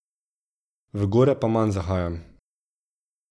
V gore pa manj zahajam.